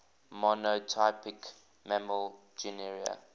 monotypic mammal genera